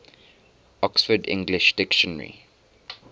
oxford english dictionary